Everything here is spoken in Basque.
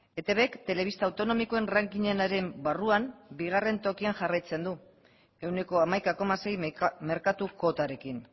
etbk telebista autonomikoen rankingenaren barruan bigarren tokian jarraitzen du ehuneko hamaika koma sei merkatu kuotarekin